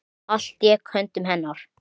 Allt lék í höndum hennar.